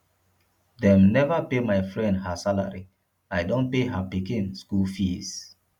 dem neva pay my friend her salary i don pay her pikin skool fees